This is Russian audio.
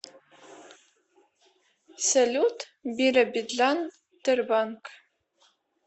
салют биробиджан тербанк